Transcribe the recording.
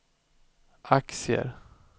aktier